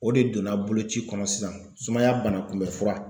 O de donna boloci kɔnɔ sisan sumaya bana kunbɛ fura.